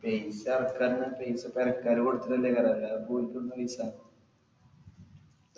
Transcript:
പൈസ എറക്കാ പറഞ്ഞാ പൈസ പെരക്കാര് കൊടുക്കുന്നോണ്ടെ അല്ലാതിപ്പോ ഓലിക്കെടുന്നാ പൈസ